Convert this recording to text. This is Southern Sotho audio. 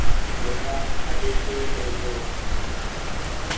ba e abetsweng le ho